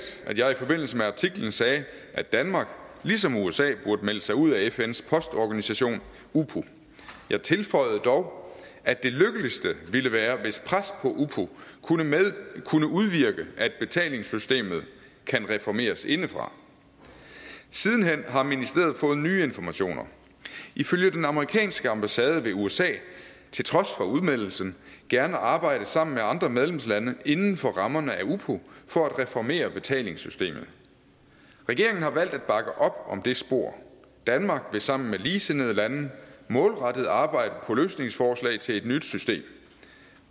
at jeg i forbindelse med artiklen sagde at danmark ligesom usa burde melde sig ud af fns postorganisation upo jeg tilføjede dog at det lykkeligste ville være hvis pres på upo kunne udvirke at betalingssystemet kan reformeres indefra siden hen har ministeriet fået nye informationer ifølge den amerikanske ambassade vil usa til trods for udmeldelsen gerne arbejde sammen med andre medlemslande inden for rammerne af upo for at reformere betalingssystemet regeringen har valgt at bakke op om det spor danmark vil sammen med ligesindede lande målrettet arbejde på løsningsforslag til et nyt system